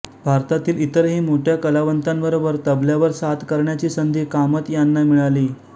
भारतातील इतरही मोठय़ा कलावंतांबरोबर तबल्यावर साथ करण्याची संधी कामत यांना मिळाली